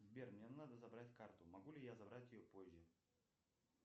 сбер мне надо забрать карту могу ли я забрать ее позже